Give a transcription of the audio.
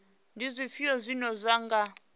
ndi zwifhio zwine zwa nga